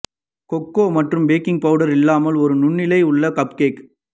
cocoa மற்றும் baking powder இல்லாமல் ஒரு நுண்ணலை உள்ள கப்கேக்